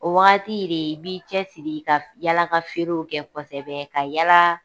O wagati de i b'i cɛ siri ka f yala ka feerew kɛ kɔsɛbɛ ka yalaa